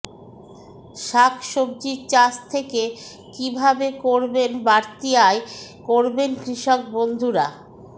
শাক সবজীর চাষ থেকে কীভাবে করবেন বাড়তি আয় করবেন কৃষকবন্ধুরা